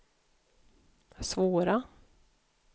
svåra